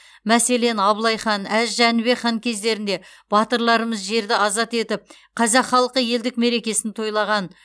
мәселен абылай хан әз жәнібек хан кездерінде батырларымыз жерді азат етіп қазақ халқы елдік мерекесін тойлаған